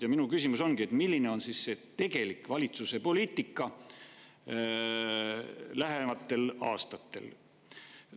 Ja minu küsimus ongi, milline on siis tegelik valitsuse poliitika lähematel aastatel.